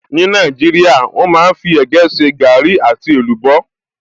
Ní Nàìjíríà, wọ́n máa fí ẹ̀gẹ́ ṣe gaàrí àti èlùbọ́